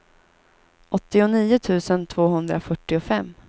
åttionio tusen tvåhundrafyrtiofem